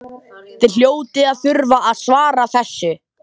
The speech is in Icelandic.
Þið hljótið að þurfa að svara þessu?